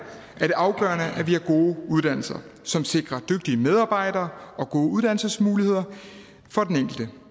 er det afgørende at vi har gode uddannelser som sikrer dygtige medarbejdere og gode uddannelsesmuligheder for den enkelte